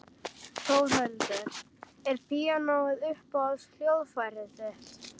Þórhildur: Er píanóið uppáhalds hljóðfærið þitt?